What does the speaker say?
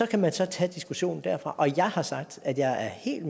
kan så tage diskussionen derfra og jeg har sagt at jeg helt